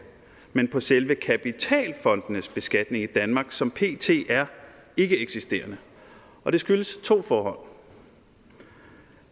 men på selve kapitalfondenes beskatning i danmark som pt er ikkeeksisterende og det skyldes to for